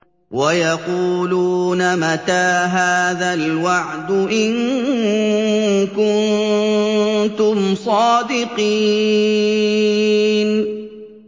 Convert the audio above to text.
وَيَقُولُونَ مَتَىٰ هَٰذَا الْوَعْدُ إِن كُنتُمْ صَادِقِينَ